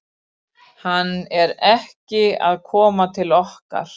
Hann er ekki að koma til okkar.